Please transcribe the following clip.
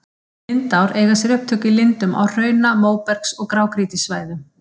Lindár eiga sér upptök í lindum á hrauna-, móbergs- og grágrýtissvæðum.